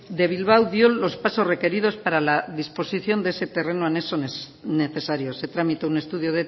de bilbao dio los pasos requeridos para la disposición de ese terreno anexo necesario se tramitó un estudio